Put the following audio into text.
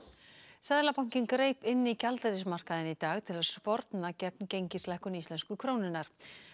seðlabankinn greip inn í gjaldeyrismarkaðinn í dag til að sporna gegn gengislækkun íslensku krónunnar